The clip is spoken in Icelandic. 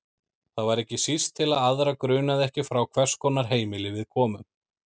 Það var ekki síst til að aðra grunaði ekki frá hvers konar heimili við komum.